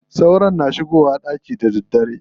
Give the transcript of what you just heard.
Sauron suna shigowa ɗaki da daddare.